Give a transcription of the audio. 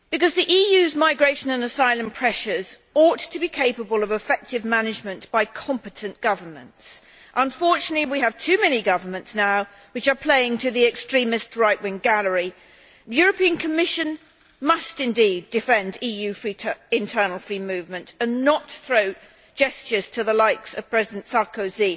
The EU's migration and asylum pressures ought to be capable of effective management by competent governments. Unfortunately we have too many governments now which are playing to the extremist right wing gallery. The European Commission must indeed defend EU internal free movement and not throw gestures to the likes of President Sarkozy